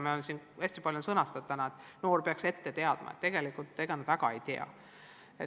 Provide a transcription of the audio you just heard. Täna on siin hästi palju räägitud, et noor peaks nõudeid ette teadma, aga tegelikult ega nad väga ei tea.